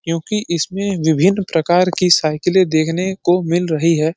क्योँकि इसमें विभिन्न प्रकार की साइकिलें देखने को मिल रही है।